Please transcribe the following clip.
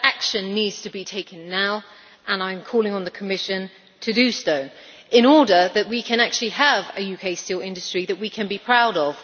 That action needs to be taken now, and I am calling on the Commission to do so in order that we can have a UK steel industry that we can be proud of.